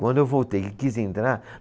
Quando eu voltei, que quis entrar.